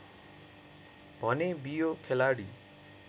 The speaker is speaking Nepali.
भने बियो खेलाडी